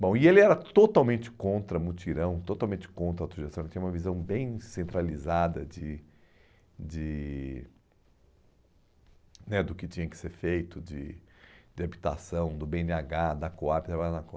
Bom, e ele era totalmente contra mutirão, totalmente contra autogestão, ele tinha uma visão bem centralizada de de né do que tinha que ser feito, de de habitação, do bê ene agá, da COAB, de trabalhar na